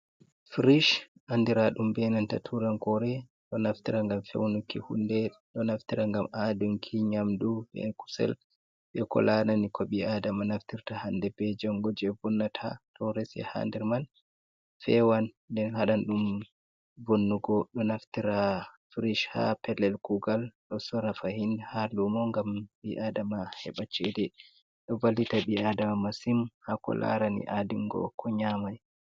Frish andira ɗum benanta turankore ɗo naftira ngam fewnuki hunde ɗo naftira gam adunki nyamdu be kusel be ko larani ko ɓi i adama naftirta hande be jongo je vunnata, to resy ha nder man fewan den haɗanɗum vonnugo, ɗo naftira frish ha pelel kugal ɗo sora fahin ha lumo gam ɓi-adama heba cede ɗo vallita ɓi-adama masim hako larani adingo ko nyame.